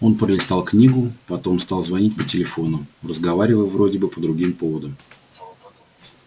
он полистал книгу потом стал звонить по телефонам разговаривая вроде бы по другим поводам